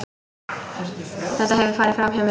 Þetta hefur farið framhjá mér!